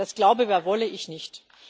Also das glaube wer wolle, ich nicht.